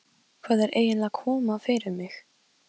Þegar Sóley giftist var lára látin fyrir rúmum tveimur árum.